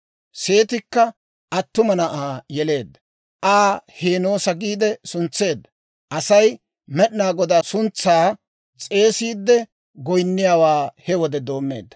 Seetikka attuma na'aa yeleedda; Aa «Heenoosa» giide suntseedda. Aasi Med'inaa Godaa suntsaa s'eesiide goyniyaawaa he wode doomeedda.